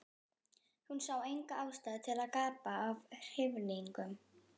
Hún sá enga ástæðu til að gapa af hrifningu.